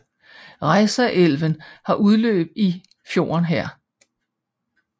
Reisaelven har udløb i i fjorden her